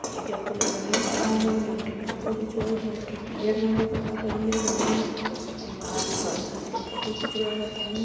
एहिजा कुल मनई खड़ा हउवे। जउन की फोटो खिचवावत हउवे एक ठे पियर रंग के कपड़ा पहिनले बा मनइया कुल सज-धज के फोटो खिचवावत हउवे।